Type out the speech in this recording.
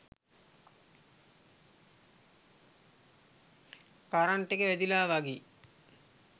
current එක වැදිලා වගේ